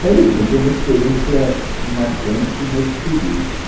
Mas, assim, foi uma experiência marcante nesse período, né